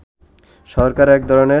সরকার এক ধরনের